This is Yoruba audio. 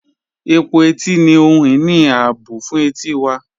Ẹ̀pọ̀ ètì ni ohun-iní ààbọ̀ fún ètí wà.